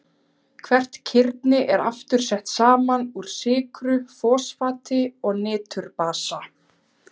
Hvert kirni er aftur sett saman úr sykru, fosfati og niturbasa.